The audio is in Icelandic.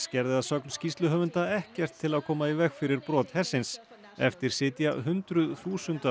gerði að sögn skýrsluhöfunda ekkert til að koma í veg fyrir brot hersins eftir sitja hundruð þúsunda